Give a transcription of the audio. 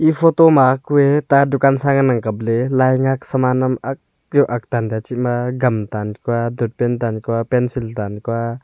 photo ma kue ta dukan sa ngan ang kap ley lai ngak pencil tan kua.